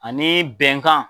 Ani bɛnkan.